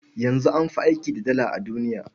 Yanzu an fi aiki da Dala a duniya.